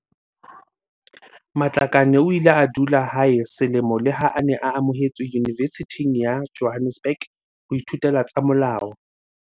Matlakane o ile a dula hae selemo leha a ne a amohetswe Yunivesithing ya Johannesburg ho ithutela tsa molao.